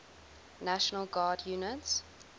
national guard units